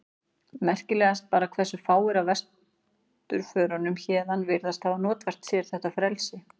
Merkilegast bara hversu fáir af vesturförunum héðan virðast hafa notfært sér þetta frelsi.